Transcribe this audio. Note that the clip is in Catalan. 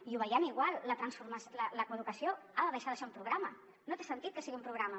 i ho veiem igual la coeducació ha de deixar de ser un programa no té sentit que sigui un programa